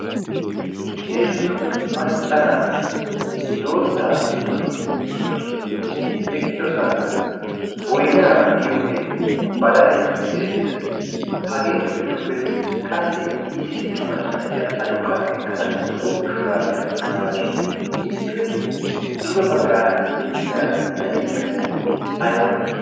heezzu maccanaati doozzaa giddon eqqidosona. eti eqqidosankka boinaa giyoogeenne badalay beettees. hageetu giddoppe qassi issi macca na'iya aduqqa ekkada zo'o shuraabiyaa maayaasu iippe duge baggaara de'iya na'ee meray ay male?